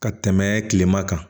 Ka tɛmɛ kilema kan